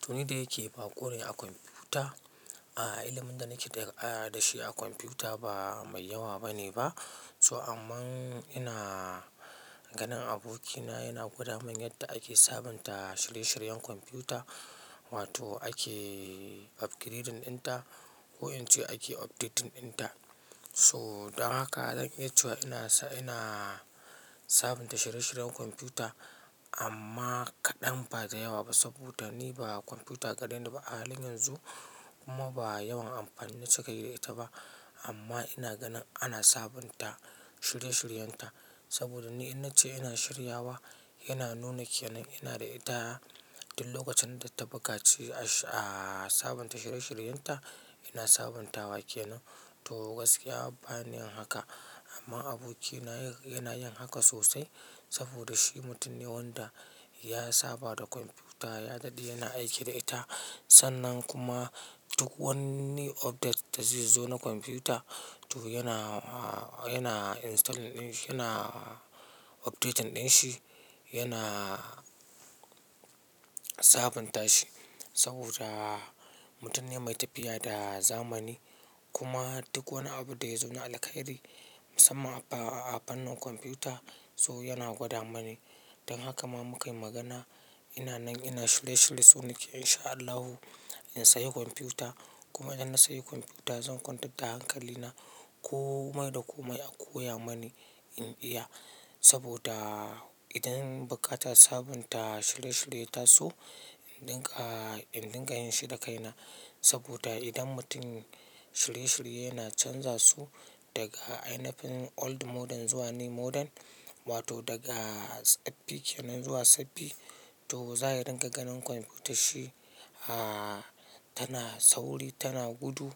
To, ni da yake baƙo ne a kwamfuta, ah, ilimin da nake da ƙayata da shi a kwamfuta ba mai yawa bane ba. So amma ina ganin abokina yana gwada min yadda ake sabunta shirye-shiryen kwamfuta wato ake upgrading ɗinta ko in ce ake updating ɗinta. So don haka zan iya cewa ina sa-- ina sabunta shirye-shiryen kwamfuta amma kaɗan ba da yawa ba saboda ni ba kwamfuta gareni ba a halin yanzu kuma ba yawan amfani na cika yi da ita ba. Amma ina ganin ana sabunta shirye-shiryenta saboda ni in na ce ina shirya wa yana nuna ke nan ina da ita duk lokacin da ta buƙaci a, a sabunta shirye-shiryenta ina sabuntawa ke nan. To gaskiya ba ni haka amma abokina yana yin haka sosai saboda shi mutum ne wanda ya saba da kwamfuta, ya daɗe yana aiki da ita. Sannan kuma duk wanni update da zai zo na kwamfuta to yana, ah, yana install ɗin, yana updating ɗin shi, yana sabunta shi saboda mutum ne mai tafiya da zamani. Kuma duk wani abu da ya zo na alkairi musamman a fannin kwamfuta so yana gwada mani. Don haka ma mukayi magana. Ina nan ina shirye-shirye so nake insha Allahu in sayi kwamfuta kuma idan na sayi kwamfuta zan kwantar da hankali na komai da komai a koya mani in iya. Saboda idan buƙatan sabunta shirye-shirye ya taso in rinƙa yin shi da kai na, saboda idan mutum shirye-shirye yana canza su daga ainifin old model zuwa new model, wato daga tsaffi ke nan zuwa sabbi to za ya ringa ganin kwamfutan shi, ah, tana sauri, tana gudu.